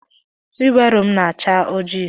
Wibaro m na-acha oji.